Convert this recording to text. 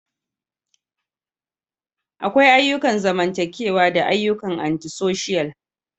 Akwai ayyukan zamantakewa da ayyukan Anti-social.